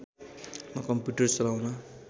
म कम्प्युटर चलाउन